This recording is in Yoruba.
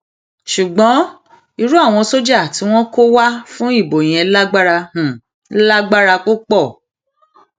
ṣùgbọn irú àwọn sójà tí wọn kó wá fún ìbò yẹn lágbára lágbára púpọ